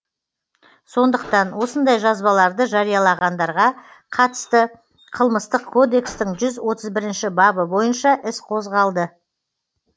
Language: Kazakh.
сондықтан осындай жазбаларды жариялағандарға қатысты қылмыстық кодекстің жүз отыз бірінші бабы бойынша іс қозғалды